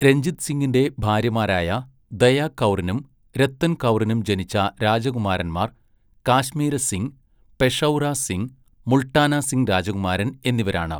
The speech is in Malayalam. രഞ്ജിത് സിങ്ങിന്റെ ഭാര്യമാരായ ദയാ കൗറിനും രത്തൻ കൗറിനും ജനിച്ച രാജകുമാരൻമാർ കാശ്മീര സിംഗ്, പെഷൗറ സിംഗ്, മുൾട്ടാന സിംഗ് രാജകുമാരൻ എന്നിവരാണ്.